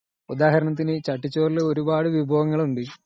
ചട്ടിച്ചോറിൽ ഒരുപാടു വിഭവങ്ങൾ ഉണ്ട് .